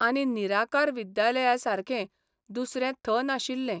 आनी निराकार विद्यालयासारकें दुसरें थ नाशिल्लें.